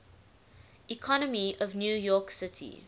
economy of new york city